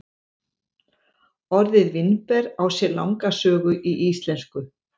Orðið vínber á sér langa sögu í íslensku.